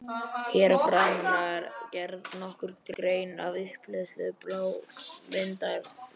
Hér að framan var gerð nokkur grein fyrir upphleðslu blágrýtismyndunarinnar.